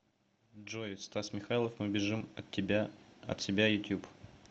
джой стас михайлов мы бежим от себя ютьюб